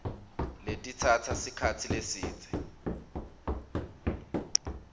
letitsatsa sikhatsi lesidze